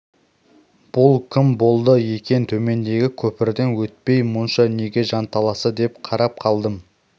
бұл кім болды екен төмендегі көпірден өтпей мұнша неге жанталасты деп қарап қалдым